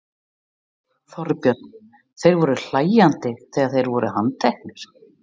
Þorbjörn: Þeir voru hlæjandi þegar þeir voru handteknir?